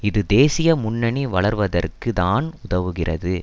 இது தேசிய முன்னணி வளர்வதற்கு தான் உதவுகிறது